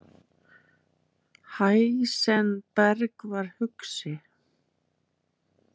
Heisenberg var hugsi.